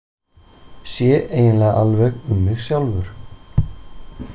Sé eiginlega alveg um mig sjálfur.